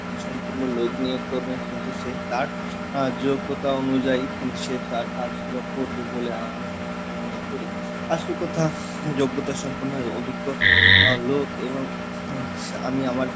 সম্পন্ন লোক নিয়োগ করবেন, কিন্তু সে তারআহ যোগ্যতা অনুযায়ী কিন্তু সে তার কাজগুলো করবে বলে আমি মনে করি, আসল কথা যোগ্যতা সম্পন্ন অভিজ্ঞ লোক এবং হম আমি আমার,